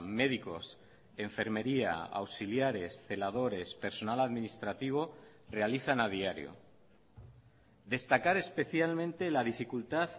médicos enfermería auxiliares celadores personal administrativo realizan a diario destacar especialmente la dificultad